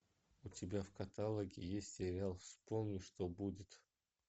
у тебя в каталоге есть сериал вспомни что будет